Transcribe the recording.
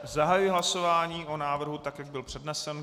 Zahajuji hlasování o návrhu, tak jak byl přednesen.